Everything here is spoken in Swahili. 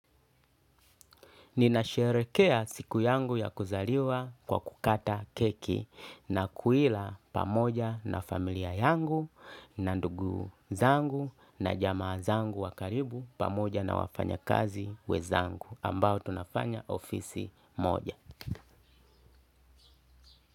Ninasherekea siku yangu ya kuzaliwa kwa kukata keki na kuila pamoja na familia yangu na ndugu zangu na jama zangu wakaribu pamoja na wafanya kazi wenzangu ambao tunafanya ofisi moja.